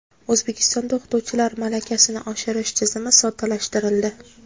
O‘zbekistonda o‘qituvchilar malakasini oshirish tizimi soddalashtirildi.